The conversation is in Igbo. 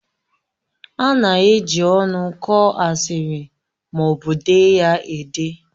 A na-eji ọnụ kọọ asịrị ma ọ bụ dee ya ede